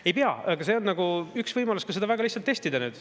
Ei pea, aga see on üks võimalus seda väga lihtsalt testida.